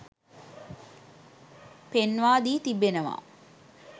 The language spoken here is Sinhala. පෙන්වා දී තිබෙනවා.